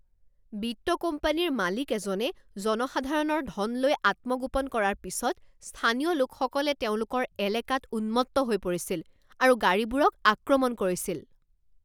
বিত্ত কোম্পানীৰ মালিক এজনে জনসাধাৰণৰ ধন লৈ আত্মগোপন কৰাৰ পিছত স্থানীয় লোকসকলে তেওঁলোকৰ এলেকাত উন্মত্ত হৈ পৰিছিল আৰু গাড়ীবোৰক আক্ৰমণ কৰিছিল।